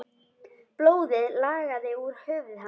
Blóðið lagaði úr höfði hans.